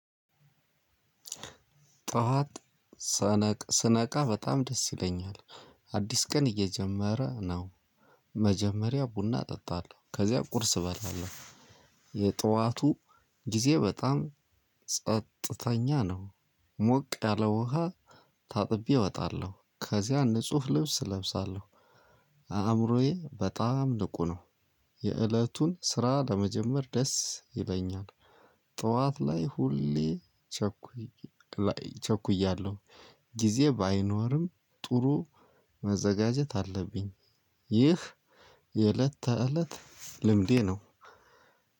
ጧት ስነቃ በጣም ደስ ይለኛል አዲስ ቀን እየጀመረ ነው። መጀመሪያ ቡና እጠጣለሁ ከዚያ ቁርስ እበላለሁ። የጠዋቱ ጊዜ በጣም ጸጥተኛ ነው። ሞቅ ያለ ውሃ ታጥቤ እወጣለው ከዛ ንጹህ ልብስ እለብሳለው። አእምሮዬ በጣም ንቁ ነው። የእለቱን ስራ ለመጀመር ደስ ይለኛል። ጠዋት ላይ ሁሌ ቸኩይ ቸኩያለሁ ጊዜ ባይኖርም ጥሩ መዘጋጀት አለብኝ። ይህ የዕለተ እለት ልምዴ ነው።